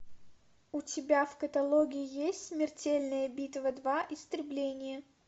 у тебя в каталоге есть смертельная битва два истребление